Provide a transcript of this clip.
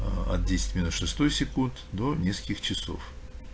аа от десять в минус шестой секунд до нескольких часов